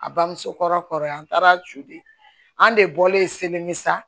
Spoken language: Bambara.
A bamuso kɔrɔ kɔrɔ yan an taara joon an de bɔlen seli misɛn